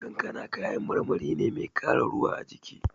Kankana kayan marmari ne mai ƙara ruwa a jiki.